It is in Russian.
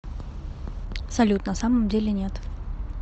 салют на самом деле нет